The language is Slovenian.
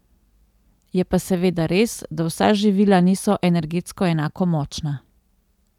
Je pa seveda res, da vsa živila niso energetsko enako močna.